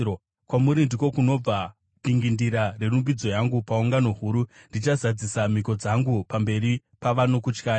Kwamuri ndiko kunobva dingindira rerumbidzo yangu paungano huru; ndichazadzisa mhiko dzangu pamberi pavanokutyai.